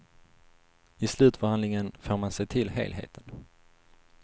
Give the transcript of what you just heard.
I slutförhandlingen får man se till helheten.